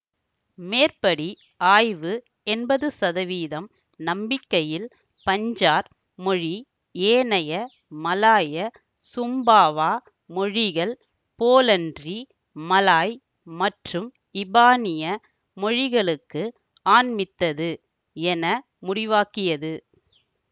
மேற்படி ஆய்வு எம்பது சதவீதம் நம்பிக்கையில் பஞ்சார் மொழி ஏனைய மலாயசும்பாவா மொழிகள் போலன்றி மலாய் மற்றும் இபானிய மொழிகளுக்கு ஆண்மித்தது என முடிவாக்கியது